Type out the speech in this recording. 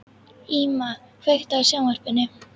Íma, kveiktu á sjónvarpinu.